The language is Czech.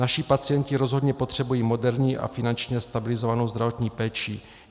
Naši pacienti rozhodně potřebují moderní a finančně stabilizovanou zdravotní péči.